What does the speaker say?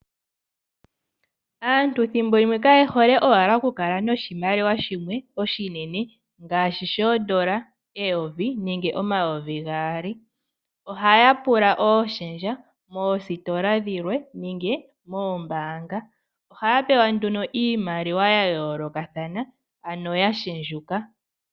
Aantu thimbo limwe kaye hole owala oku kala noshimaliwa shimwe oshinene ngaashi shoodola eyovi nenge omayovi gaali. Ohaya pula ooshendja moositola dhilwe nenge moombanga ohaya pewa nduno iimaliwa ya yoolokathana ano ya shendjuka.